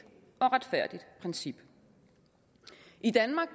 og retfærdigt princip i danmark